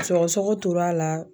Sɔgɔsɔgɔ tor'a la